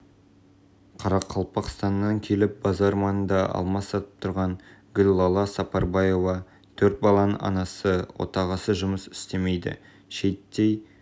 қарақалпақстаннан келіп базар маңында алма сатып тұрған гүллала сапарбаева төрт баланың анасы отағасы жұмыс істемейді шейіттей